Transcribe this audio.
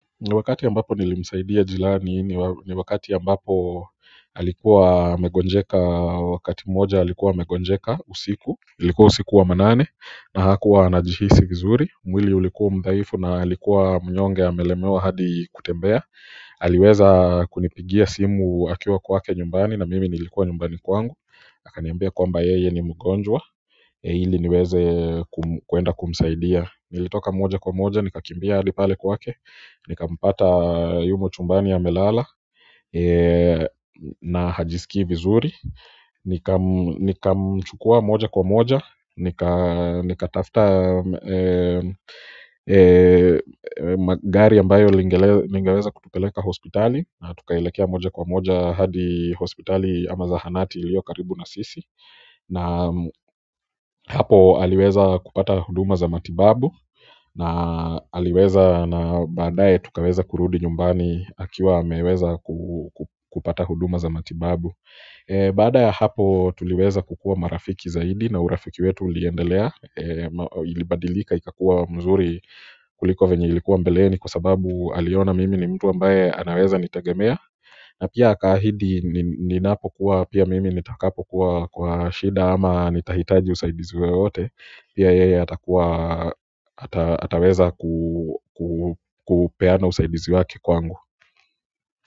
Ni wakati ambapo nilimsaidia jirani ni wakati ambapo alikuwa amegonjeka wakati mmoja alikuwa amegonjeka usiku ilikuwa usiku wa manane na hakuwa anajihisi vizuri mwili ulikuwa mdhaifu na alikuwa mnyonge amelemewa hadi kutembea aliweza kunipigia simu akiwa kwake nyumbani na mimi nilikuwa nyumbani kwangu akaniambia kwamba yeye ni mgonjwa ili niweze kuenda kumsaidia nilitoka moja kwa moja, nikakimbia hadi pale kwake. Nikampata yumo chumbani amelala na hajisikii vizuri nikamchukua moja kwa moja. Nikatafta gari ambayo lingeweza kutupeleka hospitali na tukaelekea moja kwa moja hadi hospitali ama zahanati iliyo karibu na sisi na hapo aliweza kupata huduma za matibabu na aliweza na baadae tukaweza kurudi nyumbani akiwa ameweza kupata huduma za matibabu baada ya hapo tuliweza kukua marafiki zaidi na urafiki wetu uliendelea. Ilibadilika ikakua mzuri kuliko venye ilikuwa mbeleni kwa sababu aliona mimi ni mtu ambaye anaweza nitegemea na pia akaahidi ninapo kuwa pia mimi nitakapo kuwa kwa shida ama nitahitaji usaidizi wowote pia yeye ataweza kupeana usaidizi wake kwangu.